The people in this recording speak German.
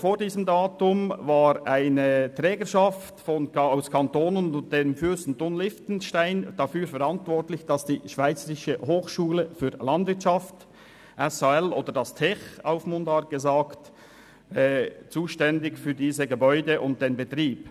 Vor diesem Datum war eine Trägerschaft von Kantonen und des Fürstentums Liechtenstein für die Gebäude und den Betrieb der damaligen Schweizerischen Hochschule für Landwirtschaft (SHL), in Mundart «Tech», zuständig und verantwortlich.